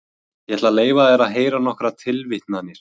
Ég ætla að leyfa þér að heyra nokkrar tilvitnanir.